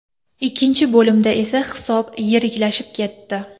Ikkinchi bo‘limda esa hisob yiriklashib ketdi.